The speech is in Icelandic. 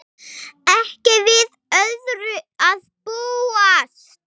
Ekki við öðru að búast!